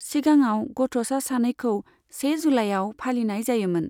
सिगाङाव गथ'सा सानखौ से जुलाइयाव फालिनाय जायोमोन।